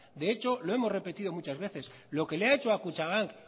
de hecho lo hemos repetido muchas veces lo que le ha hecho a kutxabank